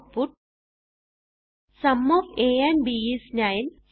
output sum of a and b is 9